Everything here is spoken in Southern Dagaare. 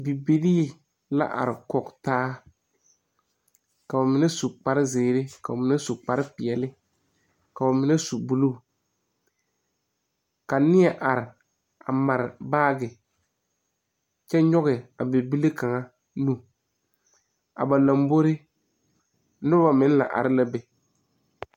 Bibilii la are kɔg taa ka ba mine su kparezeere ka ba mine su kparepeɛɛli ka ba mine su bluu ka nie are a mare baagi kyɛ nyoge a bibile kaŋa nu a ba lambori noba meŋ la are la be.